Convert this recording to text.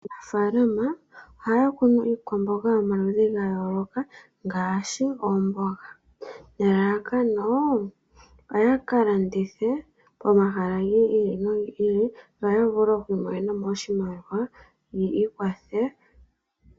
Aanafalama ohaya kunu iikwamboga yomaludhi ga yooloka, ngaashi oomboga, nelalakano oya kalandithe pomahala gi ili nogi ili, opo yamonemo oshimaliwa yi ikwathe.